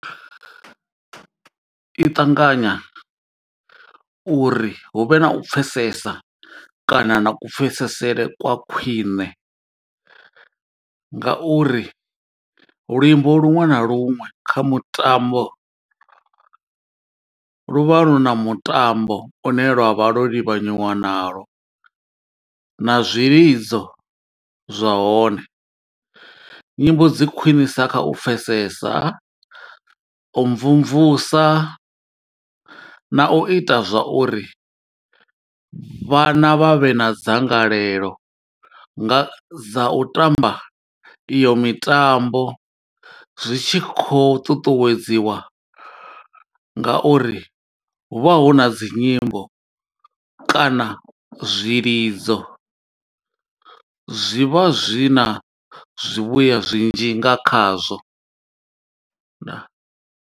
I ṱanganya uri hu vhe na u pfesesa kana na kupfesesele kwa khwiṋe, ngauri luimbo luṅwe na luṅwe kha mutambo luvha lu na mutambo une lwa vha lo livhanyiwa nalo na zwilidzo zwahone. Nyimbo dzi khwiṋisa kha u pfesesa, u mvumvusa, na u ita zwa uri vhana vha vhe na dzangalelo, nga dza u tamba iyo mitambo. Zwi tshi khou ṱuṱuwedziwa nga uri hu vha hu na dzi nyimbo, kana zwilidzo zwi vha zwi na zwivhuya zwinzhi nga khazwo. Ndaa.